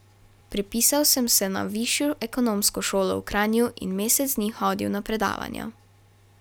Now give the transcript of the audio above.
Prepisal sem se na Višjo ekonomsko šolo v Kranju in mesec dni hodil na predavanja.